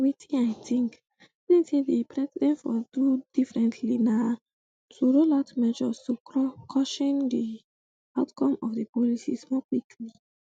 wetin i think think say di president for do differently na to roll out measures to cushion di outcome of di policies more quickly